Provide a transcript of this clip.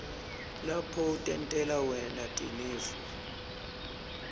lapho utentela wena tinifo